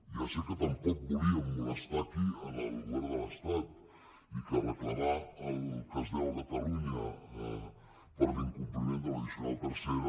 ja sé que tampoc volien molestar aquí el govern de l’estat i que recla·mar el que es deu a catalunya per l’incompliment de l’addicional tercera